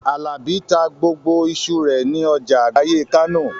Àlàbá ta gbogbo iṣu rẹ̀ ní ọjà àgbáyé Kánò